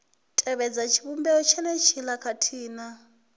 tevhedza tshivhumbeo tshenetshiḽa khathihi na